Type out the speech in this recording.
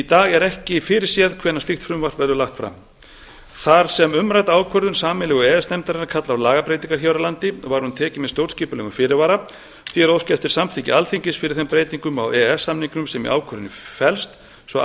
dag er ekki fyrirséð hvenær slíkt frumvarp verður lagt fram þar sem umrædd ákvörðun sameiginlegu e e s nefndarinnar kallar á lagabreytingar hér á landi var hún tekin með stjórnskipulegum fyrirvara því er óskað eftir samþykki alþingis fyrir þeim breytingum á e e s samningnum sem í ákvörðuninni e b st svo að